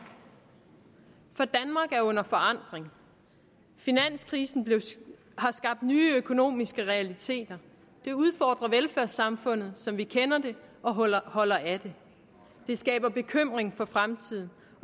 er under forandring finanskrisen har skabt nye økonomiske realiteter det udfordrer velfærdssamfundet som vi kender det og holder holder af det det skaber bekymring for fremtiden